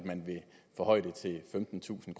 forhøje den til femtentusind